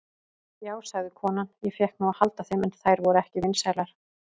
Já, sagði konan, ég fékk nú að halda þeim, en þær voru ekki vinsælar.